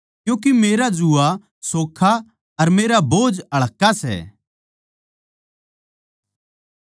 क्यूँके मेरा जूआ सोखा अर मेरा बोझ हल्का सै